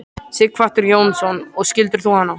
Sighvatur Jónsson: Og skildir þú hana?